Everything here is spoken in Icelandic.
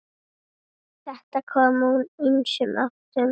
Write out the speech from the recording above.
Þetta kom úr ýmsum áttum.